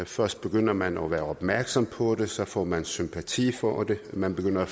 først begynder man at være opmærksom på det så får man sympati for det man begynder at